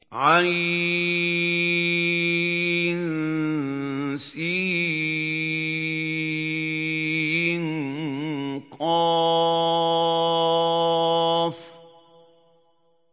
عسق